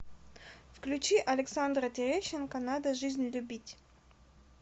включи александра терещенко надо жизнь любить